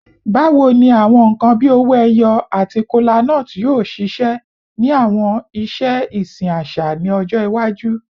Bawo ni awọn nkan bii owo eyo ati kolanut yoo ṣiṣẹ ni awọn iṣe isin aṣa ni ọjọ iwaju?